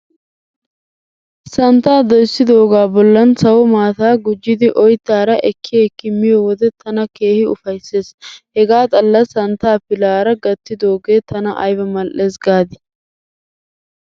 Santtaa doyssidoogaa bollan sawo maataa gujjidi oyttaara ekki ekki miyo wode tana keehi ufayssees. Hegaa xalla santtaa pilaara gattidoogee tana ayba mal'ees gaadii.